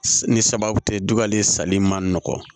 Ni sababu tɛ dugalen sali man nɔgɔ